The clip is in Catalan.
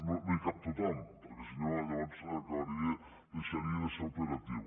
no hi cap tothom perquè si no llavors deixaria de ser operatiu